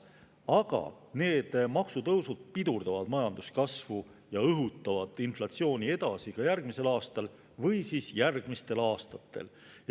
Aga need maksutõusud pidurdavad majanduskasvu ja õhutavad inflatsiooni edasi ka järgmisel aastal või siis järgmistel aastatel.